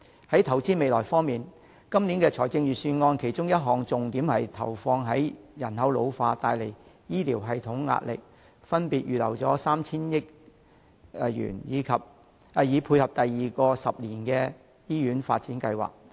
在投資未來方面，今年預算案其中一項重點是針對人口老化造成醫療系統的壓力，預留 3,000 億元以配合推行第二個十年醫院發展計劃。